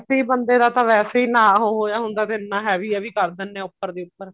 ਵੈਸੇ ਹੀ ਵੈਸੇ ਹੀ ਬੰਦੇ ਦਾ ਤਾਂ ਵੈਸੇ ਹੀ ਨਾ ਹੋਇਆ ਹੁੰਦਾ ਫੇਰ ਇੰਨਾ heavy heavy ਕਰ ਦਿੰਦੇ ਨੇ ਉੱਪਰ ਦੀ ਉੱਪਰ